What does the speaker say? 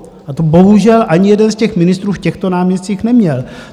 A to bohužel ani jeden z těch ministrů v těchto náměstcích neměl.